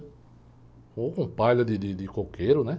Ou com palha de de coqueiro, né?